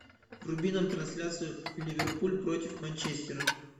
вруби нам трансляцию ливерпуль против манчестера